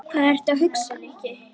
Hvað ertu að hugsa, Nikki?